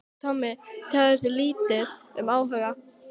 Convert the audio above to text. Tommi tjáði sig lítið um áhuga